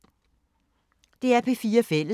DR P4 Fælles